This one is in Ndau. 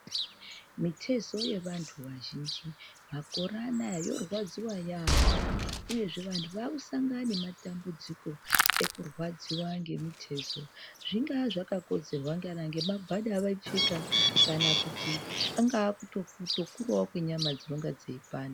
Mitezo yevantu vazhinji makore anaya yorwadziwa yamho uyezve vanhu vakusangana nematambudziko ekurwadza kwemitezo zvingaa zvakakonzwerwa kana ngemagwada avaipfeka kana kuti kunga kutokurawo kwenyama dzinonga dzeipanda.